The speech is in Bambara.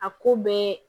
A ko bɛɛ